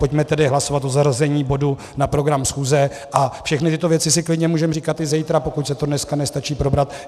Pojďme tedy hlasovat o zařazení bodu na program schůze a všechny tyto věci si klidně můžeme říkat i zítra, pokud se to dneska nestačí probrat.